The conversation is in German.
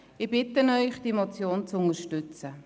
Ich bitte Sie, diese Motion zu unterstützen.